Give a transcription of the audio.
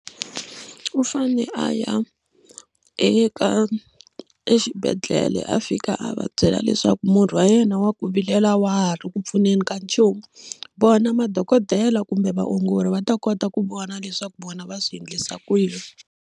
U fane a ya eka exibedhlele a fika a va byela leswaku murhi wa yena wa ku vilela a wa ha ri ku pfuneni ka nchumu vona madokodela kumbe vaongori va ta kota ku vona leswaku vona va swi endlisa ku yini.